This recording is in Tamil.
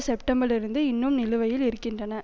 செப்டம்பரிலிருந்து இன்னும் நிலுவையில் இருக்கின்றன